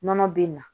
Nɔnɔ bɛ na